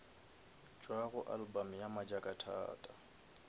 tšwa go album ya majakathata